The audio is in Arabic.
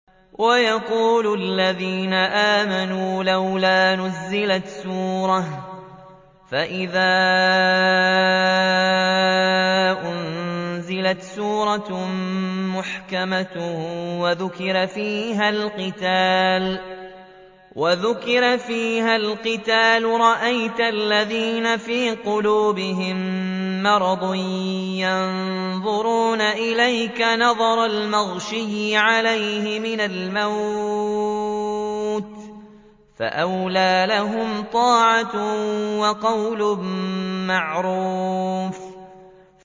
وَيَقُولُ الَّذِينَ آمَنُوا لَوْلَا نُزِّلَتْ سُورَةٌ ۖ فَإِذَا أُنزِلَتْ سُورَةٌ مُّحْكَمَةٌ وَذُكِرَ فِيهَا الْقِتَالُ ۙ رَأَيْتَ الَّذِينَ فِي قُلُوبِهِم مَّرَضٌ يَنظُرُونَ إِلَيْكَ نَظَرَ الْمَغْشِيِّ عَلَيْهِ مِنَ الْمَوْتِ ۖ فَأَوْلَىٰ لَهُمْ